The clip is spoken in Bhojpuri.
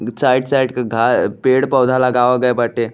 साइड -साइड के घा पेड़- पौधा लगावा गई बाटे --